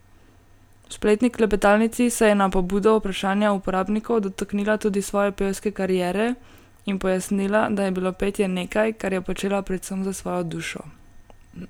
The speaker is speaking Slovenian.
V spletni klepetalnici se je na pobudo vprašanja uporabnikov dotaknila tudi svoje pevske kariere in pojasnila, da je bilo petje nekaj, kar je počela predvsem za svojo dušo.